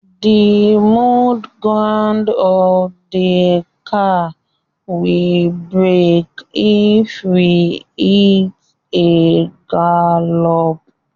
The mud guard of the car will break if we hit a gallop.